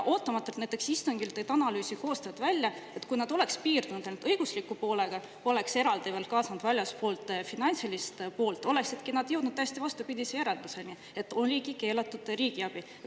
Istungil tõid analüüsi koostajad näiteks ootamatult välja, et kui nad oleks piirdunud ainult õigusliku poolega, poleks eraldi kaasanud väljast finantsilist poolt, siis oleksidki nad jõudnud täiesti vastupidisele järeldusele, et see oligi keelatud riigiabi.